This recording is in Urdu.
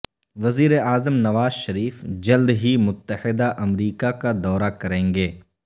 وزیراعظم نواز شریف جلد ہی متحدہ امریکہ کا دورہ کریں گے